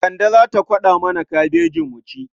Kande za ta kwaɗa mana kabejin mu ci.